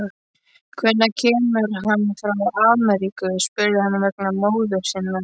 Hvenær kemur hann frá Ameríku, spurði hann vegna móður sinnar.